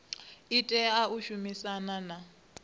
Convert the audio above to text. i tea u shumisana na